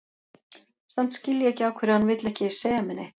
Samt skil ég ekki af hverju hann vill ekki segja mér neitt.